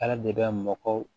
Ala de bɛ mɔgɔ